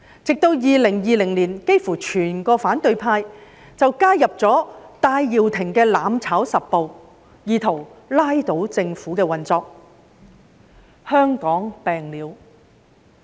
直至2020年，幾乎整個反對派都加入了戴耀廷的"攬炒十步"，意圖拉倒政府運作——香港病了。